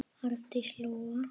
Arndís Lóa.